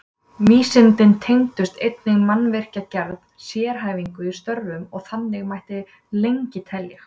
Vísindin tengdust einnig mannvirkjagerð, sérhæfingu í störfum og þannig mætti lengi telja.